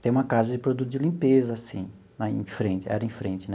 tem uma casa de produtos de limpeza assim lá em frente, era em frente né.